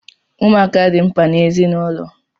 Ụmụaka di mkpa n’ezinụlọ